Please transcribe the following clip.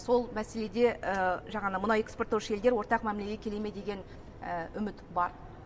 сол мәселеде жаңағы мұнай экспорттаушы елдер ортақ мәмілеге келе ме деген үміт бар